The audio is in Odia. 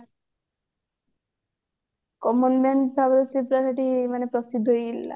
common man ଭାବରେ ସେ ପୁରା ସେଠି ମାନେ ପ୍ରସିଦ୍ଧ ହେଇ ଯାଇ ଥିଲା